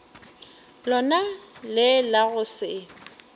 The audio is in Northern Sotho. lona le la go se